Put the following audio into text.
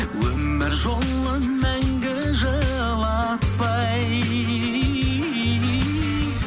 өмір жолын мәңгі жылатпай